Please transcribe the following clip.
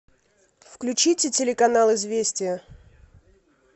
включите телеканал известия